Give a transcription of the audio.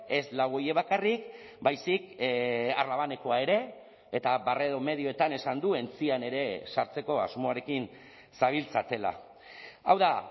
ez lau horiek bakarrik baizik arlabanekoa ere eta barredo medioetan esan du entzian ere sartzeko asmoarekin zabiltzatela hau da